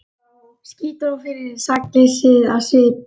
Ský dró fyrir sakleysið í svip hans.